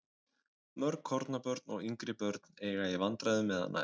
Mörg kornabörn og yngri börn eiga í vandræðum með að nærast.